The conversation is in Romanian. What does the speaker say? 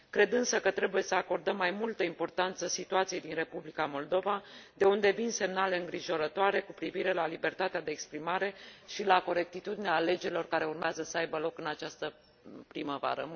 Cred însă că trebuie să acordăm mai multă importanță situației din Republica Moldova, de unde vin semnale îngrijorătoare cu privire la libertatea de exprimare și la corectitudinea alegerilor care urmează să aibă loc în această primăvară.